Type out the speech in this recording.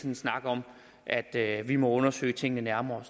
en snak om at at vi må undersøge tingene nærmere og